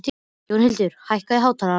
Jónhildur, hækkaðu í hátalaranum.